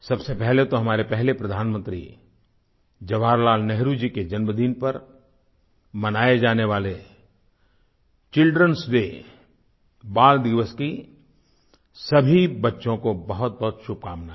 सबसे पहले तो हमारे पहले प्रधानमंत्री जवाहरलाल नेहरु जी के जन्मदिन पर मनाए जाने वाले childrenएस डे बाल दिवस की सभी बच्चों को बहुतबहुत शुभकामनाएँ